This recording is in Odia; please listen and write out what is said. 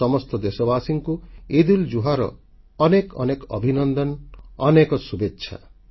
ସମସ୍ତ ଦେଶବାସୀଙ୍କୁ ଇଦ୍ଉଲ୍ଜୁହାର ଅନେକ ଅନେକ ଅଭିନନ୍ଦନ ଅନେକ ଶୁଭେଚ୍ଛା